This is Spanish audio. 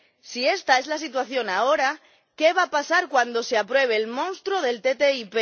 Si esta es la situación ahora, ¿qué va a pasar cuando se apruebe el monstruo de la ATCI?